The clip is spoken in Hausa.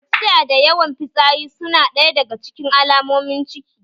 Gajiya da yawan fitsari su na ɗaya daga cikin alomomin ciki